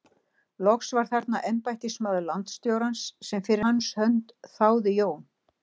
Loks var þarna embættismaður landstjórans sem fyrir hans hönd þáði Jón